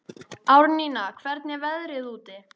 Árnína, hvernig er veðrið úti?